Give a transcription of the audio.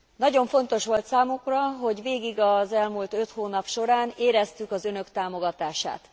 Nagyon fontos volt számunkra, hogy végig az elmúlt öt hónap során éreztük az Önök támogatását.